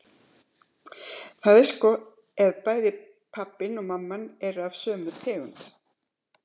Það er sko ef bæði pabbinn og mamman eru af sömu tegund.